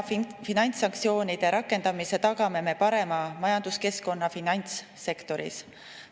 Finantssanktsioonide parema rakendamisega tagame me parema majanduskeskkonna finantssektoris.